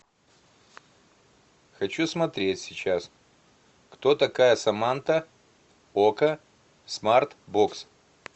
хочу смотреть сейчас кто такая саманта окко смарт бокс